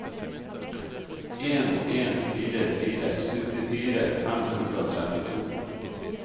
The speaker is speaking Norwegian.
en en fire fire syttifire fem hundre og trettito